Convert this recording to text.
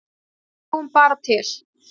Við sjáum bara til.